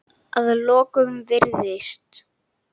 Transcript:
Að lokum virðist